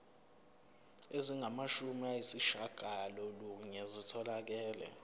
ezingamashumi ayishiyagalolunye zitholakele